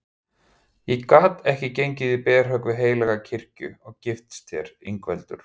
Ég gat ekki gengið í berhögg við heilaga kirkju og gifst þér Ingveldur.